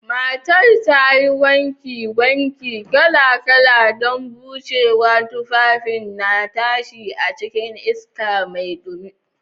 Matar ta yi wankin wanki kala-kala don bushewa, tufafin na tashi a cikin iska mai dumi.